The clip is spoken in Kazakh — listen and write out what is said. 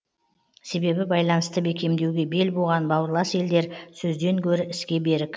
себебі байланысты бекемдеуге бел буған бауырлас елдер сөзден гөрі іске берік